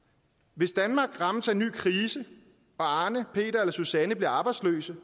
hvis danmark rammes af en ny krise og arne peter eller susanne bliver arbejdsløse